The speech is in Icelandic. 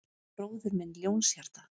Bróðir minn Ljónshjarta